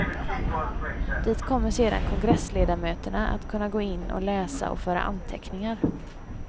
Dit kommer sedan kongressledamöterna att kunna gå in och läsa och föra anteckningar.